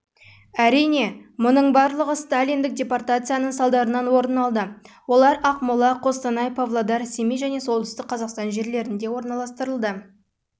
әрине мұның барлығы сталиндік депортацияның салдарынан орын алды олар ақмола қостанай павлодар семей және солтүстік қазақстан